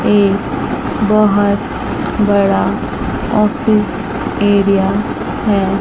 ये बहोत बड़ा ऑफिस एरिया है।